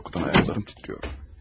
Qorxudan ayaqlarım titrəyir.